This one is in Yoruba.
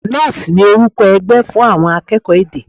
Nalls ni orúkọ ẹgbẹ́ fún àwọn akẹ́kọ̀ọ́ èdè.